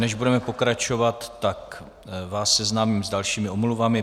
Než budeme pokračovat, tak vás seznámím s dalšími omluvami.